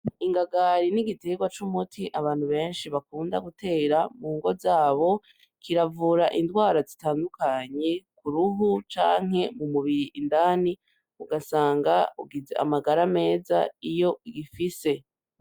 Ingagari n'igitegwa c'umuti abantu benshi bakunda gutera mu ngo zabo kiravura ingwara zitandukanye uruhu canke mumubiri indani ugasanga ugize amagara meza iyo ugifise.